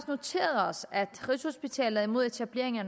noteret os at rigshospitalet er imod etableringen af